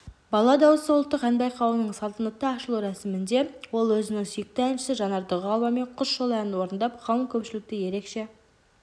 бала дауысы ұлттық ән байқауының салтанатты ашылу рәсімінде ол өзінің сүйікті әншісі жанар дұғаловамен құс жолы әнін орындап қалың көпшілікті ерекше